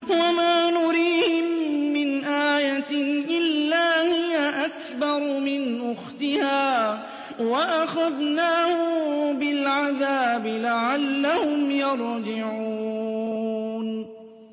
وَمَا نُرِيهِم مِّنْ آيَةٍ إِلَّا هِيَ أَكْبَرُ مِنْ أُخْتِهَا ۖ وَأَخَذْنَاهُم بِالْعَذَابِ لَعَلَّهُمْ يَرْجِعُونَ